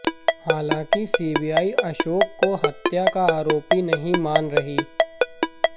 हालांकि सीबीआई अशोक को हत्या का आरोपी नहीं मान रही